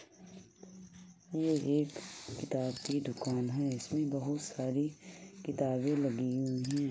यह एक किताब की दुकान है इसमें बहोत सारी किताबे लगी हुई है ।